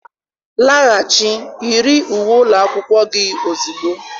Laghachi, yi uwe ụlọ akwụkwọ gị ozugbo.